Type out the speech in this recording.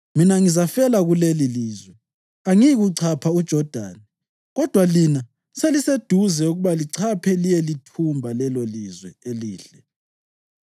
Mina ngizafela kulelilizwe; angiyikuchapha uJodani, kodwa lina seliseduze ukuba lichaphe liyelithumba lelolizwe elihle.